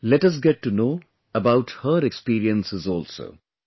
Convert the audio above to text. Come let us get to know about her experiences also